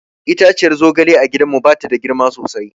Itaciyar zogale a gidanmu ba ta da girma sosai.